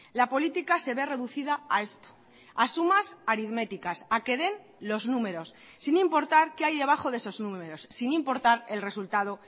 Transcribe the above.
la política se ve reducida a esto a sumas aritméticas a que den los números sin importar qué hay debajo de esos números sin importar el resultado